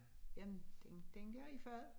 Jamen den den dér i fad